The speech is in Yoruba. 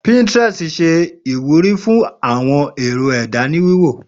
Pinterest ṣẹ iwúrí fún awọn èrò ẹda ni wíwò.